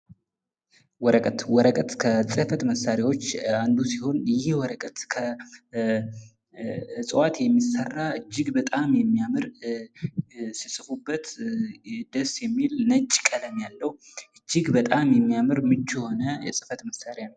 ወረቀት፦ ወረቀት ከጽህፈት መሳሪያዎች አንዱ ሲሆን ይህ ወረቀት ከእፅዋት የሚሰራ ፣ እጅግ በጣም የሚያምር ፣ ሲጽፉበት ደስ የሚል ፣ ነጭ ቀለም ያለሁ ፣ እጅግ በጣም የሚያምር ፣ ምቹ የሆነ የጽህፈት መሳሪያ ነው ።